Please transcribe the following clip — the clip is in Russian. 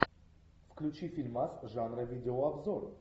включи фильмас жанра видеообзор